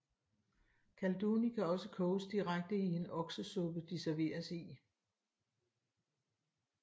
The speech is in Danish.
Kalduny kan også koges direkte i en oksesuppe de serveres i